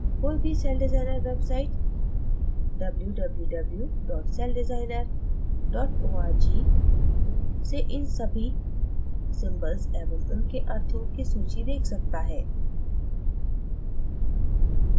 कोई भी CellDesigner websitewww celldesigner org से इन सभी symbols एवं उनके अर्थों की सूची देख सकता है